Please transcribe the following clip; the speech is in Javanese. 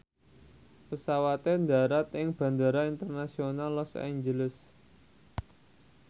pesawate ndharat ing Bandara Internasional Los Angeles